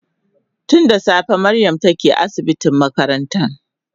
Tun da safe Mariam take asibitin makarantan